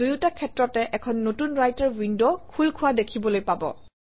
দুয়োটা ক্ষেত্ৰতে এখন নতুন ৰাইটাৰ উইণ্ড খোল খোৱা দেখিবলৈ পাব